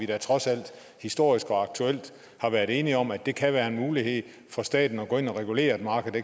da trods alt historisk og aktuelt været enige om at det kan være en mulighed for staten at gå ind og regulere et marked